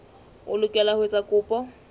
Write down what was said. o lokela ho etsa kopo